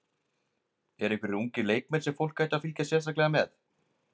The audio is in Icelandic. Eru einhverjir ungir leikmenn sem fólk ætti að fylgjast sérstaklega með?